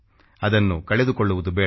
ಅದನ್ನು ಕಳೆದುಕೊಳ್ಳುವುದು ಬೇಡ